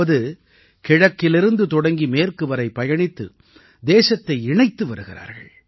அதாவது கிழக்கிலிருந்து தொடங்கி மேற்கு வரை பயணித்து தேசத்தை இணைத்து வருகிறார்கள்